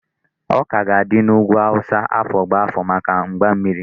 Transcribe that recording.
Ọka ga-adị n'ugwu Hausa afọ gbá afọ maka mgbammiri.